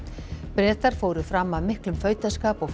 Bretar fóru fram af miklum fautaskap og